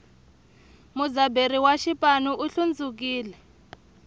mudzaberi wa xipanu u hlundzukile